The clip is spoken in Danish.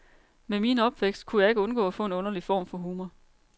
Med min opvækst kunne jeg ikke undgå at få en underlig form for humor.